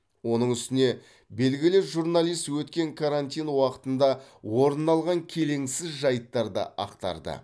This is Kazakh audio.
оның үстіне белгілі журналист өткен карантин уақытында орын алған келеңсіз жайттарды ақтарды